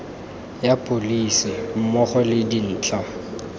ya pholese mmogo le dintlha